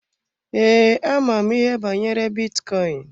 Ee, ama m ihe banyere bitcoin.